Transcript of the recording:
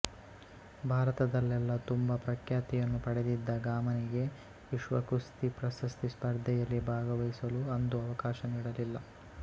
ಭಾರತದಲ್ಲೆಲ್ಲ ತುಂಬ ಪ್ರಖ್ಯಾತಿಯನ್ನು ಪಡೆದಿದ್ದ ಗಾಮನಿಗೆ ವಿಶ್ವಕುಸ್ತಿ ಪ್ರಶಸ್ತಿ ಸ್ಪರ್ಧೆಯಲ್ಲಿ ಭಾಗವಹಿಸಲು ಅಂದು ಅವಕಾಶ ನೀಡಲಿಲ್ಲ